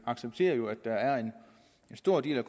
accepterer at der er en stor del af